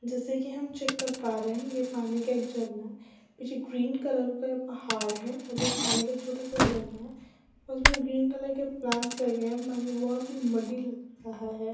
जैसा कि हम चेक कर प रहे है ये पानी का एक झरना है कुछ ग्रीन कलर का पहाड़ है आगे पानी का एक छोटा सा झरना है उसमे ग्रीन कलर के प्लांट लगे है बहुत ही मड्डी लग रहा है।